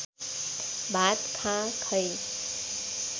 भात खाँ खै